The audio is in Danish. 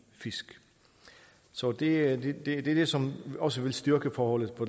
fisk så det er det det som også vil styrke forholdet